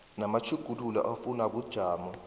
namatjhuguluko afunwa bujamo